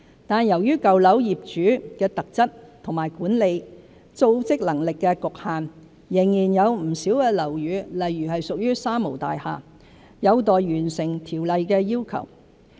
但由於舊樓業主的特質和管理、組織能力的局限，仍然有不少樓宇，例如屬"三無大廈"，有待完成《條例》的要求。